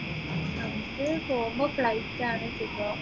പോവുമ്പ flight ആണ് സുഖം